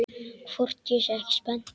Hvort ég sé ekki spennt?